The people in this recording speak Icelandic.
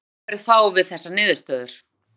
Með slíkri aðferð fáum við þessar niðurstöður: